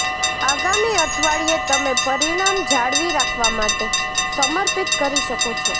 આગામી અઠવાડિયે તમે પરિણામ જાળવી રાખવા માટે સમર્પિત કરી શકો છો